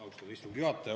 Austatud istungi juhataja!